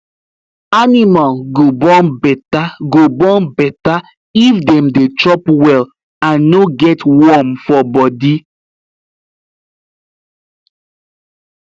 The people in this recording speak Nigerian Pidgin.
animal go born better go born better if dem dey chop well and no get worm for body